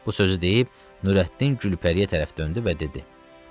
Bu sözü deyib Nurəddin Gülpəriyə tərəf döndü və dedi: Gülpəri.